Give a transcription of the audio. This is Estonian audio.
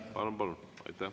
Palun!